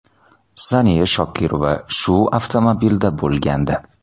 Saniya Shokirova shu avtomobilda bo‘lgandi.